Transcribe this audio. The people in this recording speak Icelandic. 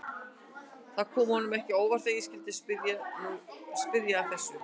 Það kom honum ekki á óvart að ég skyldi spyrja að þessu.